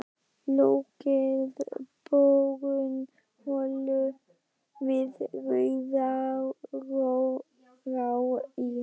Lokið borun holu við Rauðará í